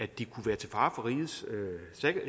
de kunne være til fare for rigets